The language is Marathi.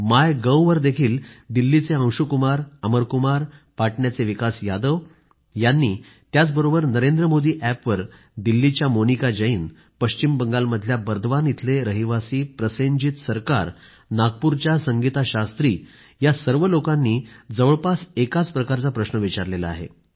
माय गव्हवर देखील दिल्लीचे अंशु कुमार अमर कुमार आणि पाटण्याचे विकास यादव यांनी त्याचबरोबर नरेंद्रमोदीअॅपवर दिल्लीच्या मोनिका जैन पश्चिम बंगालमधल्या बर्दवान इथले रहिवासी प्रसेनजीत सरकार नागपूरच्या संगीता शास्त्री या सर्व लोकांनी जवळपास एकाच प्रकारचा प्रश्न विचारला आहे